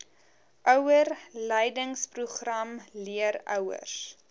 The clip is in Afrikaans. ouerleidingsprogram leer ouers